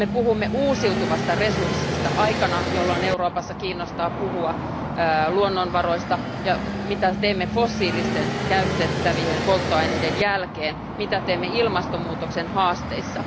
Me puhumme uusiutuvasta resurssista aikana, jolloin Euroopassa ollaan kiinnostuneita luonnonvaroista ja siitä, mitä teemme fossiilisten käytettävien polttoaineiden jälkeen ja mitä teemme ilmastonmuutoksen haasteissa.